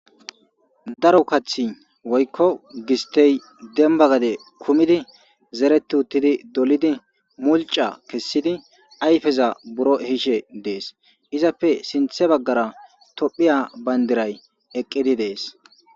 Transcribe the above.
Daro kathi woykko gistey demba gade kumidi zereti uttidi dolidi mulca kessidi ayfeza buro hiishe dees izappe sinthe baggara tophiya bayndiray eqqidi dees.